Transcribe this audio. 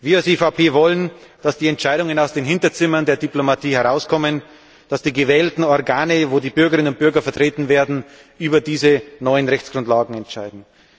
Wir als EVP wollen, dass die Entscheidungen aus den Hinterzimmern der Diplomatie herauskommen, dass die gewählten Organe, in denen die Bürgerinnen und Bürger vertreten sind, über diese neuen Rechtsgrundlagen entscheiden.